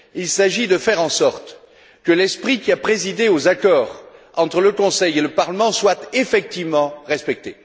Il s'agit de faire en sorte que l'esprit qui a présidé aux accords entre le Conseil et le Parlement soit effectivement respecté.